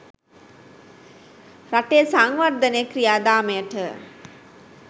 රටේ සංවර්ධන ක්‍රියාදාමයට